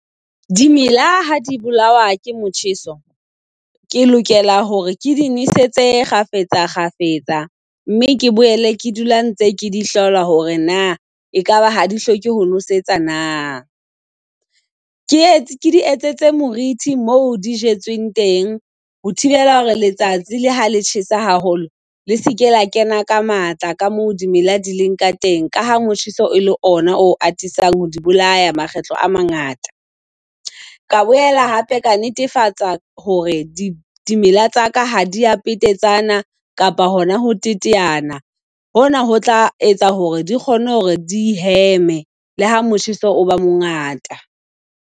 Dimela ha di bolawa ke motjheso, ke lokela hore ke di nesetse kgafetsa kgafetsa, mme ke boele ke dula ntse ke di hlola hore na ekaba ha di hloke ho nosetsa na. Ke etse ke di etsetse moriti mo di jetsweng teng ho thibela hore letsatsi le ha le tjhesa haholo, le se ke la kena ka matla ka mo di mela di leng ka teng, ka ha motjheso e le ona o atisang ho di bolaya makgetlo a mangata. Ka boela hape ka netefatsa hore di dimela tsa ka ha dia petetsana kapa hona ho teteana. Hona ho tla etsa hore di kgone hore di heme le ha motjheso o ba mongata.